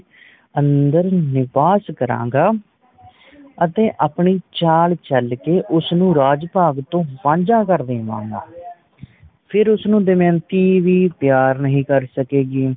ਅੰਦਰ ਨਿਵਾਸ ਕਰਾਂਗਾ ਤੇ ਆਪਣੀ ਚਾਲ ਚਲ ਕੇ ਉਸ ਨੂੰ ਰਾਜ ਭਾਗ ਤੋਂ ਵਾਂਝਾ ਕਰ ਦੇਵਾਂਗਾ ਫਿਰ ਉਸਨੂੰ ਦਮਯੰਤੀ ਵੀ ਪਿਆਰ ਨਹੀਂ ਕਰ ਸਕੇਗੀ